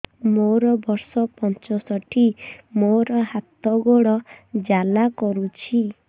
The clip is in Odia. ମୋର ବର୍ଷ ପଞ୍ଚଷଠି ମୋର ହାତ ଗୋଡ଼ ଜାଲା କରୁଛି